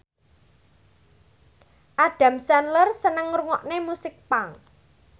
Adam Sandler seneng ngrungokne musik punk